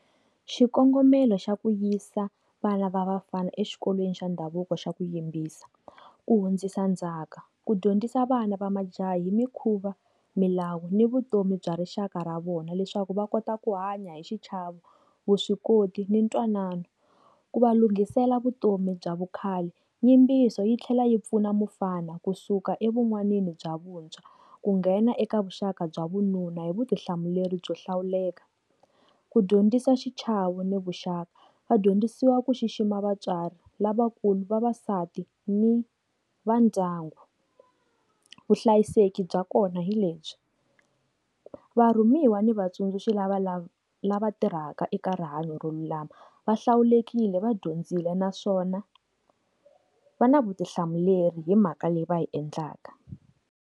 Xikongomelo xa ku yisa vana va vafana exikolweni xa ndhavuko xo yimbisa, ku hundzisa ndzhaka, ku dyondzisa vana va majaha hi mikhuva, milawu ni vutomi bya rixaka ra vona, leswaku va kota ku hanya hi xichava, vuswikoti ni ntwanano. Ku va lunghisela vutomi bya vukhale yimbiso yi tlhela yi pfuna mufana kusuka evutsongwanini bya vuntshwa, ku nghena eka vuxaka bya vununa hi vutihlamuleri byo hlawuleka. Ku dyondzisa xichavo ni vuxaka, vadyondzisiwa ku xixima vatswari lavakulu vavasati ni va ndyangu. Vuhlayiseki bya kona hi lebyi va rhumiwa ni vatsundzuxi lava lava lava tirhaka eka rihanyo ra lama va hlawulekile va dyondzile naswona va na vutihlamuleri hi mhaka leyi va hi endlaka.